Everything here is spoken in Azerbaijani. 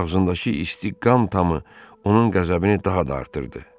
Ağzındakı isti qan tamı onun qəzəbini daha da artırdı.